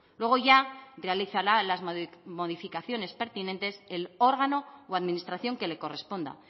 luego ya realizará las modificaciones pertinentes el órgano o administración que le corresponda